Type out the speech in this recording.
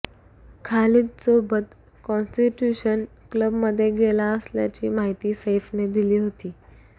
खालिदसोबत constitution क्लबमध्ये गेला असल्याची माहिती सैफीने दिली होती